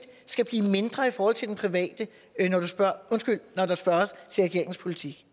skal blive mindre i forhold til den private når der spørges til regeringens politik